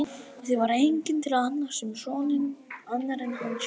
Því var enginn til að annast um soninn annar en hann sjálfur.